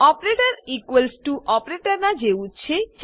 operator equals to ઓપરેટરનાં જેવું જ છે